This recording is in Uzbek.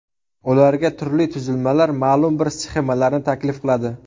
Ularga turli tuzilmalar ma’lum bir sxemalarni taklif qiladi.